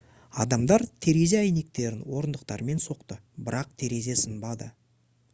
адамдар терезе әйнектерін орындықтармен соқты бірақ терезе сынбады